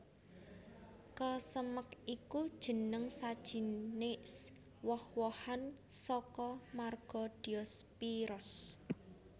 Kesemek iku jeneng sajinis woh wohan saka marga Diospyros